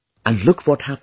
And look what happens